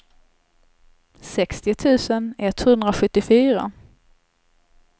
sextio tusen etthundrasjuttiofyra